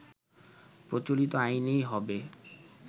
প্রচলিত আইনেই হবে